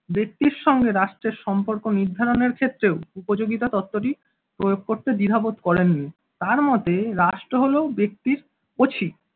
ব্যক্তির সঙ্গে রাষ্ট্রের সম্পর্ক নির্ধারণের ক্ষেত্রেও উপযোগিতা তত্ত্বটি প্রয়োগ করতে দ্বিধাবোধ করেননি। তাঁর মতে রাষ্ট্র হল ব্যক্তির ওছি